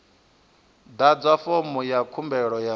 ḓadza fomo ya khumbelo ya